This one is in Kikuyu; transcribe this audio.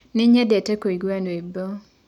Nĩnyendete kũĩgũa rwĩbo.